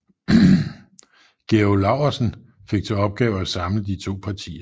Georg Laursen fik til opgave at samle de to partier